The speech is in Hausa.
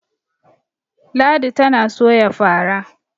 ladi tana Soya fara